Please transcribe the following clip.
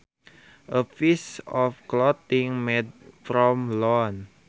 A piece of clothing made from lawn